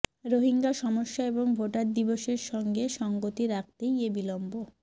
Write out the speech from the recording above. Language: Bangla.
রোহিঙ্গা সমস্যা এবং ভোটার দিবসের সঙ্গে সংগতি রাখতেই এ বিলম্ব